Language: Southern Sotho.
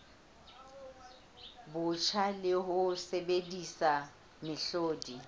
botjha le ho sebedisa mehlodi